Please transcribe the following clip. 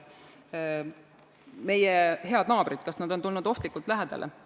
Kas meie head naabrid on tulnud ohtlikult lähedale?